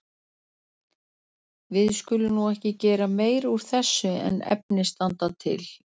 Við skulum nú ekki gera meira úr þessu en efni standa til.